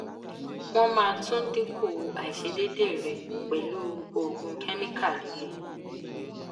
won ma tun dinku aisedede re pelu oogun chemical lile